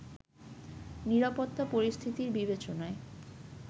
নিরাপত্তা পরিস্থিতির বিবেচনায়